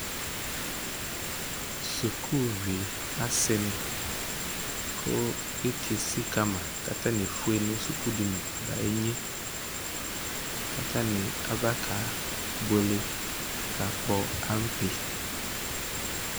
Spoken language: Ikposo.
Sukuvi asini, kʋ iti esikama katani efue nʋ sukudini ba inyeKatani abakebuele, kakpɔ ampe